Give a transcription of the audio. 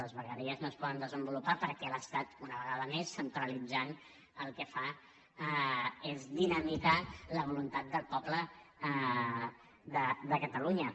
les vegueries no es poden desenvolupar perquè l’estat una vegada més centralitzant el que fa és dinamitar la voluntat del poble de catalunya